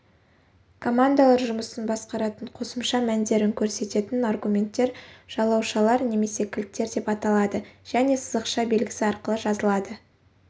командалар жұмысын басқаратын қосымша мәндерін көрсететін аргументтер жалаушалар немесе кілттер деп аталады және сызықша белгісі арқылы жазылады